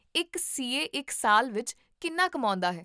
ਇੱਕ C A ਇੱਕ ਸਾਲ ਵਿੱਚ ਕਿੰਨਾ ਕਮਾਉਂਦਾ ਹੈ?